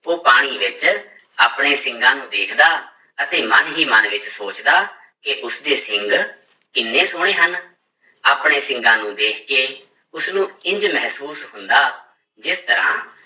ਉਹ ਪਾਣੀ ਵਿੱਚ ਆਪਣੇ ਸਿੰਗਾਂ ਨੂੰ ਵੇਖਦਾ ਅਤੇ ਮਨ ਹੀ ਮਨ ਵਿੱਚ ਸੋਚਦਾ ਕਿ ਉਸਦੇ ਸਿੰਘ ਕਿੰਨੇ ਸੋਹਣੇ ਹਨ, ਆਪਣੇ ਸਿੰਗਾਂ ਨੂੰ ਦੇਖ ਕੇ ਉਸਨੂੰ ਇੰਞ ਮਹਿਸੂਸ ਹੁੰਦਾ, ਜਿਸ ਤਰ੍ਹਾਂ